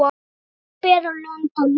Álfur bera lönd og lýð.